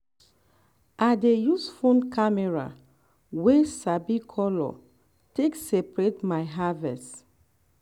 i dey use phone camera um wey um sabi color take separate my um harvest.